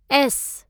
S